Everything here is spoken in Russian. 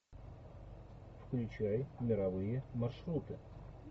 включай мировые маршруты